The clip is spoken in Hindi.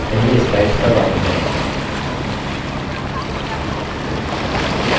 पहले slides पर वापस जायेंगे